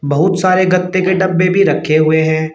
बहुत सारे गत्ते के डब्बे भी रखे हुए हैं।